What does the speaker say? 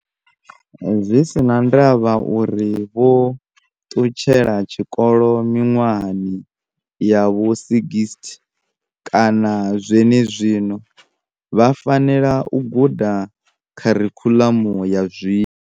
Zwi si na ndavha uri vho ṱutshela tshikolo miṅwahani ya vho60 kana zwenezwino, vha fanela u guda kharikhuḽamu ya zwino.